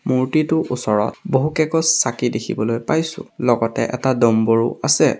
মূৰ্ত্তিটোৰ ওচৰত বহুত কেইগছ চাকি দেখিবলৈ পাইছোঁ লগতে এটা ডম্বৰু আছে।